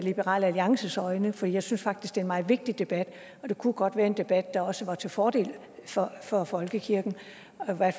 liberal alliances øjne for jeg synes faktisk det er en meget vigtig debat og det kunne godt være en debat der også var til fordel for for folkekirken